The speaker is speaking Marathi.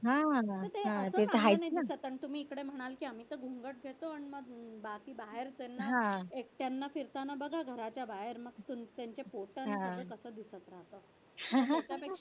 हा हा ते तर आहेच ना तुम्ही इकडे म्हणाल तुम्ही गोंगाट देतो आणि बाकी बाहेरच ना एकट्यानं फिरताना बघा घराच्या बाहेर त्यांचे फोटो न